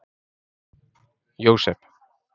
Jósep